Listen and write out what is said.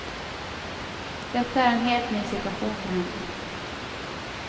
Detta är en helt ny situation för henne.